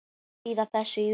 Hvað þýða þessi úrslit?